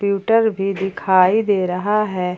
Computer भी दिखाई दे रहा है।